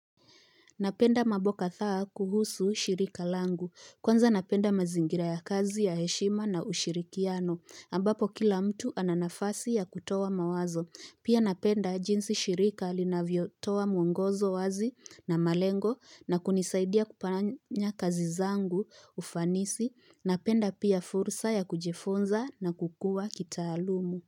Napenda mambo kadhaa kuhusu shirika langu. Kwanza napenda mazingira ya kazi ya heshima na ushirikiano. Ambapo kila mtu ana nafasi ya kutoa mawazo. Pia napenda jinsi shirika linavyo toa mwongozo wazi na malengo na kunisaidia kufanya kazi zangu ufanisi. Napenda pia fursa ya kujifunza na kukua kitaalumu.